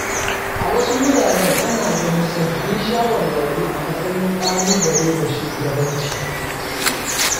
A wasu wuraren ana ganin sababbin shawarwari a matsayin ƙalubale ga shugabanci.